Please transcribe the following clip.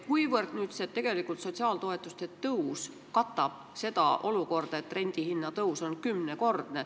Kuivõrd see sotsiaaltoetuste tõus katab seda rendihinna kümnekordset tõusu?